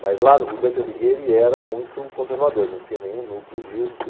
Mas lá o Dante Alighieri era muito conservador, não tinha nenhum núcleo disso.